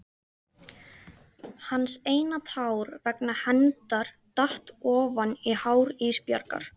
Hans eina tár vegna hennar datt ofan á hár Ísbjargar.